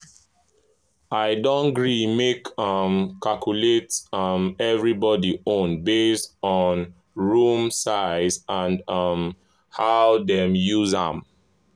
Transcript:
i don gree make i um calculate um everybody own based on room size and um how dem use am.